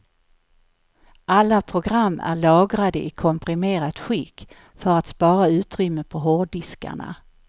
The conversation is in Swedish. Alla program är lagrade i komprimerat skick för att spara utrymme på hårddiskarna.